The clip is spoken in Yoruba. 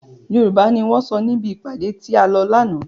Yorùbá ni wọn sọ níbi ìpàdé tí a lọ lànà.